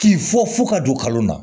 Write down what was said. K'i fɔ fo ka don kalo la